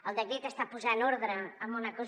el decret està posant ordre en una cosa